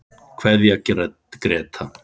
Kveðja Gréta.